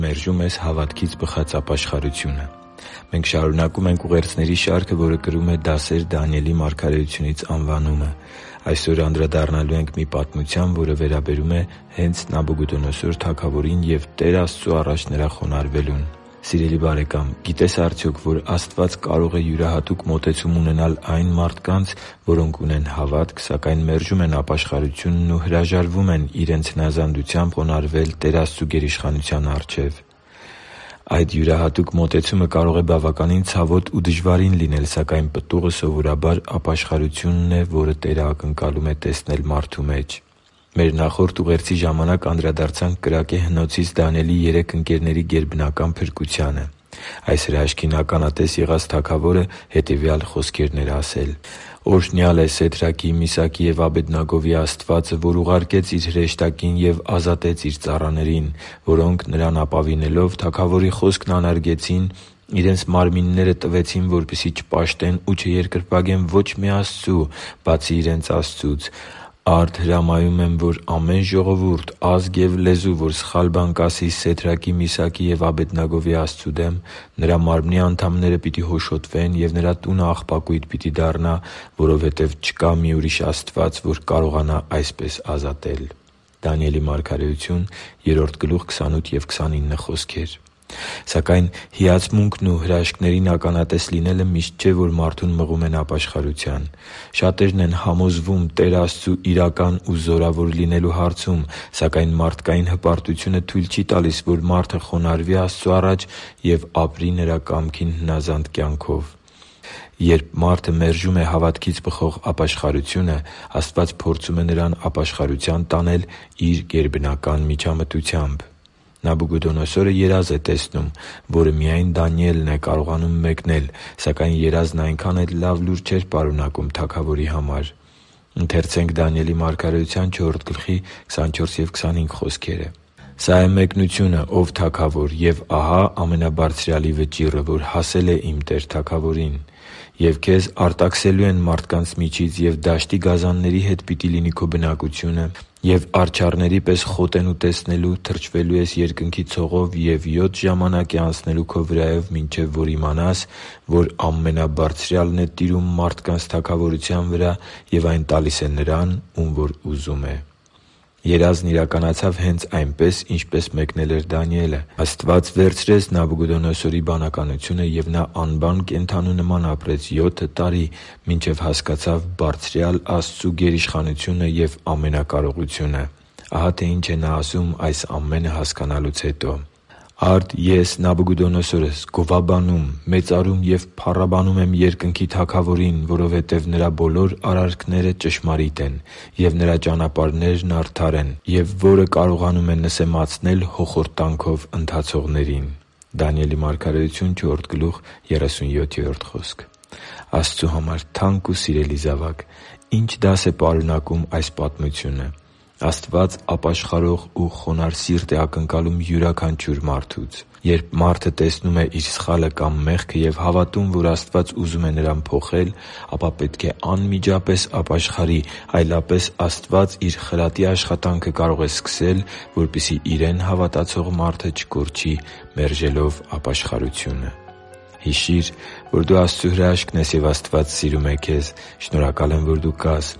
մերժում ես հավատքից բխած ապաշխարությունը Մենք շարունակում ենք ուղերձների շարքը, որը կրում է «Դասեր Դանիելի մարգարեությունից»անվանումը։ Այսօր անդրադառնալու ենք մի պատմության, որը վերաբերում է հե՛նց Նաբուգուդոնոսոր թագավորին ու Տեր Աստծու առաջ նրա խոնարհվելուն։ Սիրելի՛ բարեկամ, գիտե՞ս արդյոք, որ Աստված կարող է յուրահատուկ մոտեցում ունենալ այն մարդկանց, որոնք ունեն հավատք, սակայն մերժում են ապաշխարությունն ու հրաժարվում են իրենց հնազանդությամբ խոնարհվել Տեր Աստծու գերիշխանության առաջ։ Այդ յուրահատուկ մոտեցումը կարող է բավականին ցավոտ ու դժվարին լինել, սակայն պտուղը, սովորաբար, ապաշխարությունն է, որը Տերն ակնկալում է տեսնել մարդու մեջ։ Մեր նախորդ ուղերձի ժամանակ անդրադարձանք կրակե հնոցից Դանիելի երեք ընկերների գերբնական փրկությանը։ Այս հրաշքին ականատես եղած թագավորը հետևյալ խոսքերն էր ասել․ «Օրհնյալ է Սեդրաքի, Միսաքի և Աբեդնագովի Աստվածը, որ ուղարկեց Իր հրեշտակին և ազատեց Իր ծառաներին, որոնք, Նրան ապավինելով, թագավորի խոսքն անարգեցին. իրենց մարմինները տվեցին, որպեսզի չպաշտեն ու չերկրպագեն ոչ մի աստծու, բացի իրենց Աստծուց։ Արդ հրամայում եմ, որ ամեն ժողովուրդ, ազգ և լեզու, որ սխալ բան կասի Սեդրաքի, Միսաքի և Աբեդնագովի Աստծու դեմ, նրա մարմնի անդամները պիտի հոշոտվեն, և նրա տունը աղբակույտ պիտի դառնա, որովհետև չկա մի ուրիշ Աստված, որ կկարողանա այսպես ազատել» (Դանիել 3.28-29): Սակայն հիացմունքն ու հրաշքներին ականատես լինելը միշտ չէ, որ մարդուն մղում են ապաշխարության։ Շատերն են համոզվում Տեր Աստծու՝ իրական ու զորավոր լինելու հարցում, սակայն մարդկային հպարտությունը թույլ չի տալիս, որ մարդը խոնարհվի Աստծու առաջ և ապրի Նրա կամքին հնազանդ կյանքով։ Երբ մարդը մերժում է հավատքից բխող ապաշխարությունը, Աստված փորձում է նրան ապաշխարության տանել Իր գերբնական միջամտությամբ։ Նաբուգոդոնոսորը երազ է տեսնում, որը միայն Դանիելն է կարողանում մեկնել։ Սակայն երազն այնքան էլ լավ լուր չէր պարունակում թագավորի համար։ «Սա է մեկնությունը, ո՛վ թագավոր, և ահա Ամենաբարձրյալի վճիռը, որ հասել է իմ տեր թագավորին։ Եվ քեզ արտաքսելու են մարդկանց միջից, և դաշտի գազանների հետ պիտի լինի քո բնակությունը, և արջառների պես քեզ խոտ են ուտեցնելու, թրջվելու ես երկնքի ցողով, և յոթ ժամանակ է անցնելու քո վրայով, մինչև որ իմանաս, որ Ամենաբարձրյալն է տիրում մարդկանց թագավորության վրա և այն տալիս է նրան, ում որ ուզում է» (Դանիել 4․24-25): Երազն իրականացավ հենց այնպես, ինչպես մեկնել էր Դանիելը։ Աստված վերցրեց Նաբուգոդոնոսորի բանականությունը, և նա անբան կենդանու նման ապրեց յոթը տարի, մինչև հասկացավ բարձրյալ Աստծու գերիշխանությունը և ամենակարողությունը։ Ահա թե ինչ է նա ասում այս ամենը հասկանալուց հետո։ «Արդ ես՝ Նաբուգոդոնոսորս, գովաբանում, մեծարում և փառաբանում եմ երկնքի Թագավորին, որովհետև Նրա բոլոր արարքները ճշմարիտ են, և Նրա ճանապարհներն արդար են, և որը կարողանում է նսեմացնել հոխորտանքով ընթացողներին» (Դանիել 4․37): Աստծու համար թանկ ու սիրելի՛ զավակ, ի՞նչ դաս է պարունակում այս պատմությունը։ Աստված ապաշխարող ու խոնարհ սիրտ է ակնկալում յուրաքանչյուր մարդուց։ Երբ մարդը տեսնում է իր սխալը կամ մեղքը և հավատում, որ Աստված ուզում է նրան փոխել, ապա պետք է անմիջապես ապաշխարի, այլապես Աստված Իր խրատի աշխատանքը կարող է սկսել, որպեսզի Իրեն հավատացող մարդը չկորչի՝ մերժելով ապաշխարությունը։ Հիշի՛ր, որ դու Աստծո հրաշքն ես, և Աստված սիրում է քեզ։ Շնորհակալ եմ, որ դու կա՛ս